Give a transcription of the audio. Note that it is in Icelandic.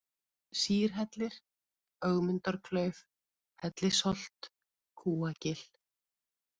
Sýrhellir, Ögmundarklauf, Hellisholt, Kúagil